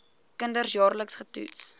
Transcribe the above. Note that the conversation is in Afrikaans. kinders jaarliks getoets